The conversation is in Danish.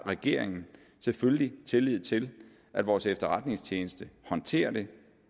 regeringen selvfølgelig tillid til at vores efterretningstjeneste håndterer det